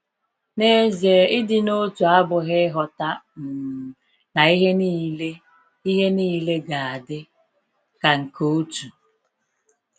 N'ezie, ịdị n’otu abụghị ịghọta um na ihe niile ihe niile ga-adị ka nke otu.